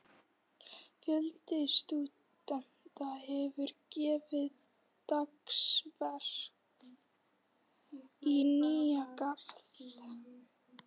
Fjöldi stúdenta hefur gefið dagsverk í Nýja-Garð.